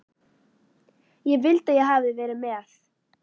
Ég vildi að ég hefði verið með